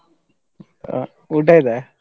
ಹಾ ಊಟಾಯ್ತಾ?